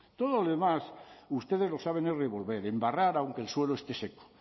todo lo demás ustedes lo saben es revolver embarrar aunque el suelo esté seco